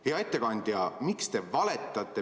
Hea ettekandja, miks te valetate?